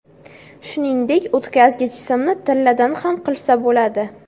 Shuningdek, o‘tkazgich simni tilladan ham qilsa bo‘ladi.